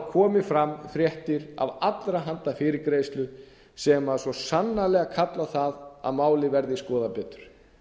komið fram fréttir af allra handa fyrirgreiðslu sem svo sannarlega kallar á það að málið verði skoðað betur